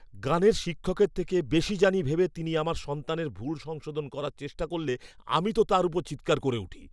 গানের শিক্ষকের থেকে বেশি জানি ভেবে তিনি আমার সন্তানের ভুল সংশোধন করার চেষ্টা করলে আমি তো তাঁর ওপর চিৎকার করে উঠি।